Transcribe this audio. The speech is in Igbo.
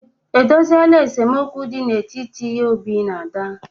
E dozieela esemokwu dị n'etiti Obi na Ada.